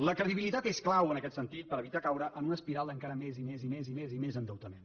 la credibilitat és clau en aquest sentit per evitar caure en una espiral d’encara més i més i més i més i més endeutament